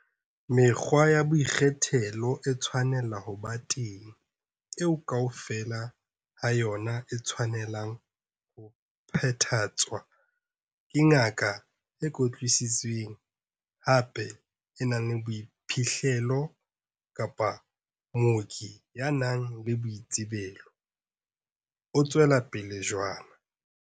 Mekgwa ya boikgethelo e tshwanela ho ba teng, eo kaofela ha yona e tshwanelang ho phethahatswa ke ngaka e kwetlisitsweng, hape e nang le boiphihlelo, kapa mooki ya nang le boitsebelo, o tswela pele jwana.